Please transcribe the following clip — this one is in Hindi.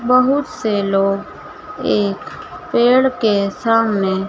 बहुत से लोग एक पेड़ के सामने--